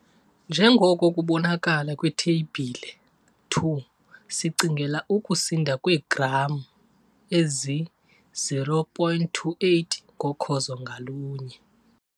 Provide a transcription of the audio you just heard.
Njengoko kubonakala kwiTheyibhile 2 sicingela ukusinda kweegram ezi-0,28 ngokhozo ngalunye.